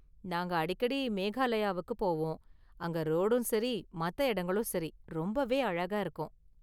நாங்க அடிக்கடி மேகாலயாவுக்கு போவோம், அங்க ரோடும் சரி, மத்த எடங்களும் சரி ரொம்பவே அழகா இருக்கும்.